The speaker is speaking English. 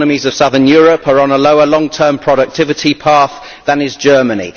The economies of southern Europe are on a lower long term productivity path than is Germany.